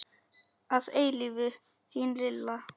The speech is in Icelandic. Að eilífu þín lilla.